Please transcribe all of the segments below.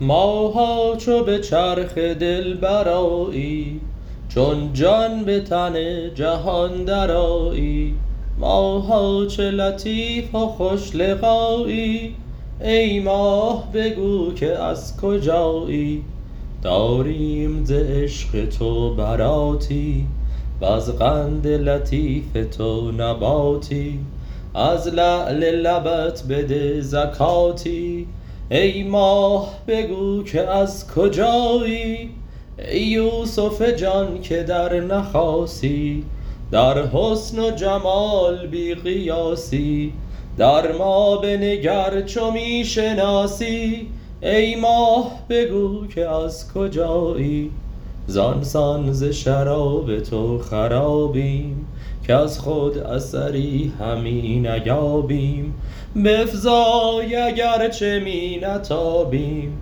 ماها چو به چرخ دل برآیی چون جان به تن جهان درآیی ماها چه لطیف و خوش لقایی ای ماه بگو که از کجایی داریم ز عشق تو براتی وز قند لطیف تو نباتی از لعل لبت بده زکاتی ای ماه بگو که از کجایی ای یوسف جان که در نخاسی در حسن و جمال بی قیاسی در ما بنگر چو می شناسی ای ماه بگو که از کجایی زان سان ز شراب تو خرابیم کز خود اثری همی نیابیم بفزای اگر چه می نتابیم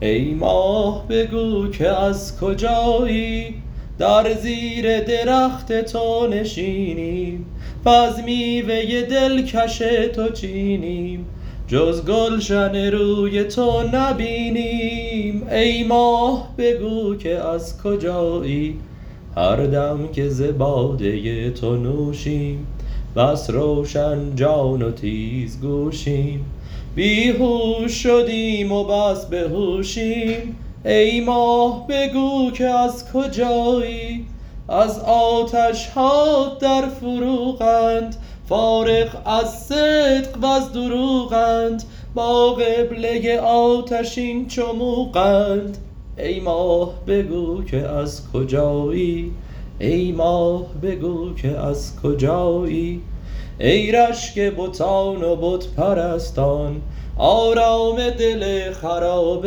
ای ماه بگو که از کجایی در زیر درخت تو نشینیم وز میوه دلکش تو چینیم جز گلشن روی تو نبینیم ای ماه بگو که از کجایی هر دم که ز باده تو نوشیم بس روشن جان و تیزگوشیم بی هوش شدیم و بس به هوشیم ای ماه بگو که از کجایی از آتش هات در فروغند فارغ از صدق وز دروغند با قبله آتشین چو موغند ای ماه بگو که از کجایی ای رشک بتان و بت پرستان آرام دل خراب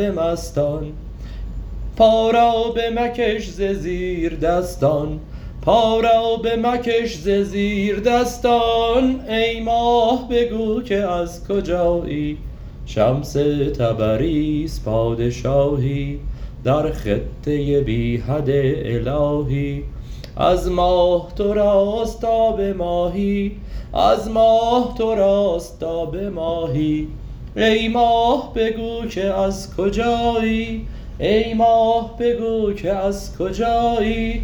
مستان پا را بمکش ز زیردستان ای ماه بگو که از کجایی شمس تبریز پادشاهی در خطه بی حد الهی از ماه تو راست تا به ماهی ای ماه بگو که از کجایی